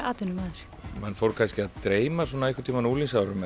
atvinnumaður mann fór kannski að dreyma svona einhverntíma á unglingsárunum